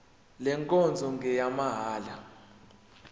le nkonzo ngeyamahala